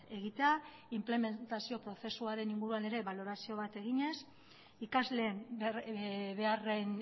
egitea inplementazio prozesuaren inguruan ere balorazio bat eginez ikasleen beharren